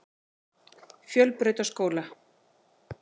Fjölbrautaskóla